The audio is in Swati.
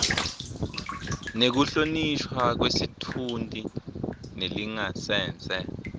nekuhlonishwa kwesitfunti nelingasese